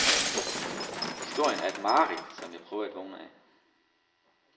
Historien er et mareridt, som jeg prøver at vågne af .